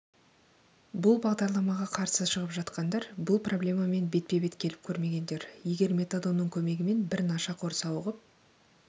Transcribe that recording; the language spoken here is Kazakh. бұл бағдарламаға қарсы шығып жатқандар бұл проблемамен бетпе-бет келіп көрмегендер егер метадонның көмегімен бір нашақор сауығып